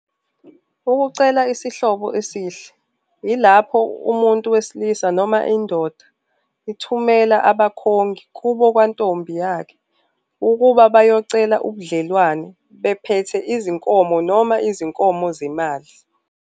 Ukucela isihlobo esihle yilapho umuntu wesilisa noma indoda ithumela abakhongi kubo kwantombi yakhe ukuba bayocela ubudlelwane bephethe izinkomo noma izinkomo zemali.